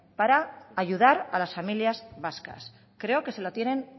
para ayudar a las familias vascas creo que se lo tienen